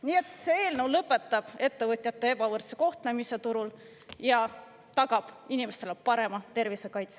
Nii et see eelnõu lõpetab ettevõtjate ebavõrdse kohtlemise turul ja tagab inimestele parema tervisekaitse.